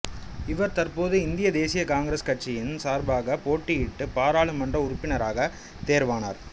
இவர் தற்போது இந்திய தேசிய காங்கிரசு கட்சியின் சார்பாக போட்டியிட்டு பாராளுமன்ற உறுப்பினராகத் தேர்வானார்